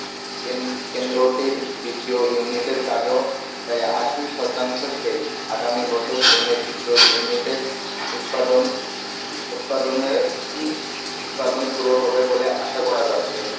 কেন~কেন্দ্রটির দ্বিতীয় unit এর কাজও প্রায় আশি শতাংশ শেষ, আগামী বছর দ্বিতীয় unit এর উৎপাদন উৎপাদনের উৎপাদন শুরু হবে বলে আশা করা যাচ্ছে।